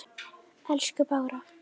Elsku Bára.